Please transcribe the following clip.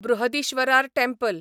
Brihadeeswarar temple